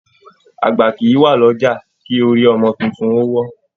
Àgbà kìí wá l'ọja kí orí ọmọ títún o wọ́.